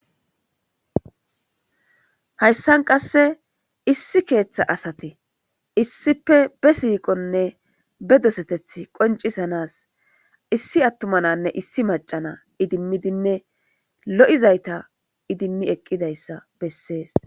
Hysan qase issi keetha asati issippe besiqone bedosethethi qoncisanas issi atuma nanne issi macca na idimidine loyzayta idimi eqizayssa besses.